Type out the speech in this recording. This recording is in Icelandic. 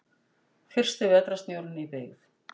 Fyrsti vetrarsnjórinn í byggð.